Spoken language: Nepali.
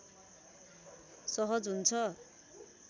सहज हुन्छ